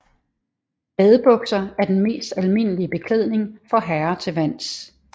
Badebukser er den mest almindelige beklædning for herrer til vands